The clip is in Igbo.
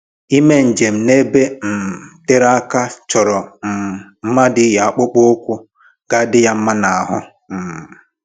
Ime njem n'ebe um tere aka chọrọ um mmadụ iyi akpụkpọ ụkwụ ga-adị ya mma n'ahụ um